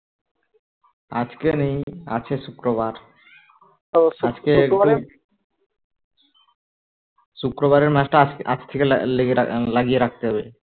আজকে নেই আছে শুক্রবার আজকে একটু শুক্রবারের match টা আজকে আজ থেকে লেগে লাগিয়ে রাখতে হবে